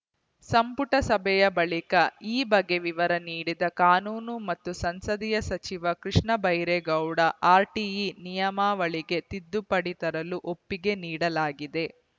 ಸಂಪುಟ ಸಭೆಯ ಬಳಿಕ ಈ ಬಗ್ಗೆ ವಿವರ ನೀಡಿದ ಕಾನೂನು ಮತ್ತು ಸಂಸದೀಯ ಸಚಿವ ಕೃಷ್ಣ ಬೈರೇಗೌಡ ಆರ್‌ಟಿಇ ನಿಯಮಾವಳಿಗೆ ತಿದ್ದುಪಡಿ ತರಲು ಒಪ್ಪಿಗೆ ನೀಡಲಾಗಿದೆ